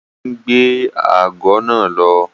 Ó ti ń gbé ago náà lọ.